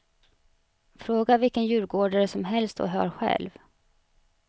Fråga vilken djurgårdare som helst och hör själv.